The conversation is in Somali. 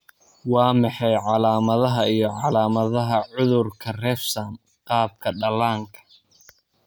Waa maxay calaamadaha iyo calaamadaha cudurka Refsum, qaabka dhallaanka?